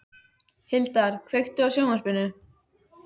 Hildar, kveiktu á sjónvarpinu.